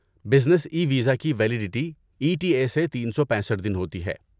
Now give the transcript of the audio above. business e visa کی validity E T A سے تین سو پیسٹھ دن ہوتی ہے